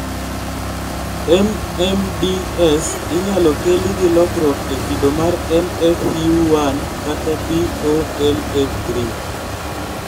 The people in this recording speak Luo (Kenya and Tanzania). MMDS inyalo keli gi lokruok e kido mar NFU1 kata BOLA3